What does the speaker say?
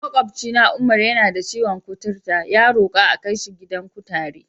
Maƙwabcina Umar, yana da ciwon kuturu, ya roka a kai shi gidan kutare.